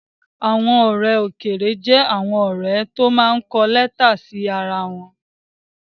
Àwọn ọ̀rẹ́ òkèèrè jẹ́ àwọn ọ̀rẹ́ tó máa ń kọ lẹ́tà sí ara wọn